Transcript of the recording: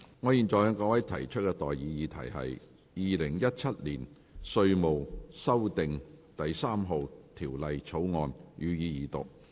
我現在向各位提出的待議議題是：《2017年稅務條例草案》，予以二讀。